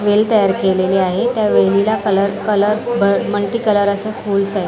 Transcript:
वेल तयार केलेली आहे त्या वेलीला कलर कलर मल्टीकलर असे फूल्स आहे.